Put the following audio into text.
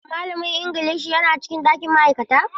Shin malamin Ingilishi yana cikin ɗakin ma'aikata?